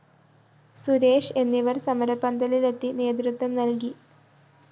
സുരേഷ് എന്നിവര്‍ സമരപ്പന്തലിലെത്തി നേതൃത്വം നല്‍കി